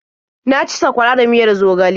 Na ci sakwara da miyar zogale.